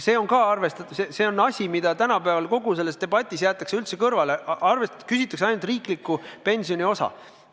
Ja see on asi, mis kogu selles debatis on üldse kõrvale jäetud, küsitakse ainult riikliku pensioniosa kohta.